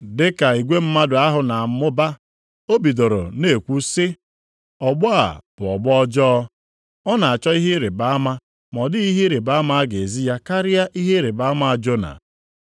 Dị ka igwe mmadụ ahụ na-amụba, o bidoro na-ekwu sị, “Ọgbọ a bụ ọgbọ ọjọọ. Ọ na-achọ ihe ịrịbama ma ọ dịghị ihe ịrịbama a ga-ezi ya karịa ihe ịrịbama Jona.